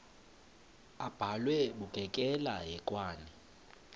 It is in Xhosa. abhalwe bukekela hekwane